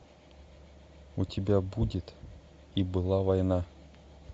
у тебя будет и была война